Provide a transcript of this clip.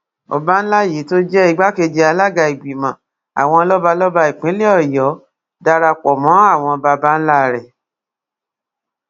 ọba ńlá yìí tó jẹ igbákejì alága ìgbìmọ àwọn lọbalọba ìpínlẹ ọyọ dara pọ mọ àwọn baba ńlá ẹ